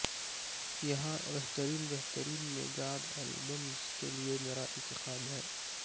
یہاں بہترین بہترین میگادھ البمز کے لئے میرا انتخاب ہے